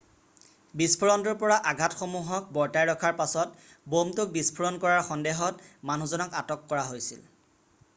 বিস্ফোৰণটোৰ পৰা আঘাটসমূহক বৰ্তাই ৰখাৰ পাছত ব'মটোক বিস্ফোৰণ কৰাৰ সন্দেহত মানুহজনক আটক কৰা হৈছিল৷